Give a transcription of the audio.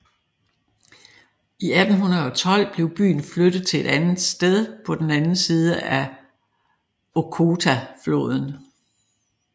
I 1812 blev byen flyttet til et nyt sted på den anden side af Okhotafloden